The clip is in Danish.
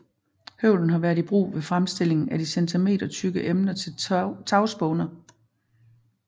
Høvlen har været i brug ved fremstilling af de centimetertykke emner til tagspåner